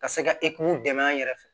Ka se ka dɛmɛ an yɛrɛ fɛ